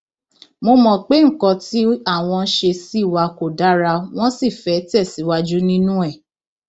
wọn mọ pé nǹkan tí àwọn ṣe sí wa kò dára wọn sì fẹẹ tẹ síwájú nínú ẹ